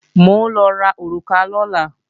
Mò ń lọ ra òrùka lọ́la